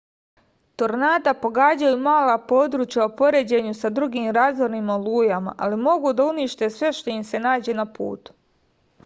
tornada pogađaju mala područja u poređenju sa drugim razornim olujama ali mogu da unište sve što im se nađe na putu